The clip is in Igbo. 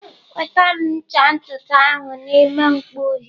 Weta m ncha ntutu ahụ n'ime mkpọ uhie!